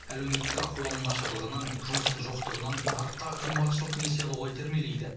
әлеуметтік ахуалының нашарлығынан жұмыстың жоқтығынан нарықтағы қымбатшылық несие алуға итермелейді